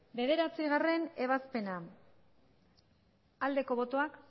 bederatzigarrena ebazpena aldeko botoak